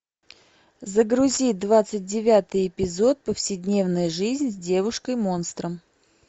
загрузи двадцать девятый эпизод повседневная жизнь с девушкой монстром